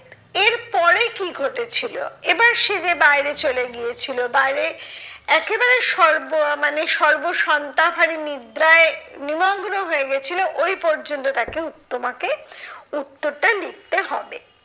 এরপরে কি ঘটেছিলো। এবার সে যে বাইরে চলে গিয়েছিলো বাইরে, একেবারে সর্ব মানে সর্বসন্তা হারি নিদ্রায় নিমগ্ন হয়ে গেছিলো ওই পর্যন্ত তাকে উহ তোমাকে লিখতে হবে।